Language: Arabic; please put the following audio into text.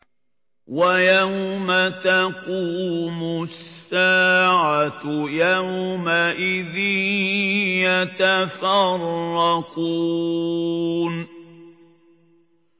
وَيَوْمَ تَقُومُ السَّاعَةُ يَوْمَئِذٍ يَتَفَرَّقُونَ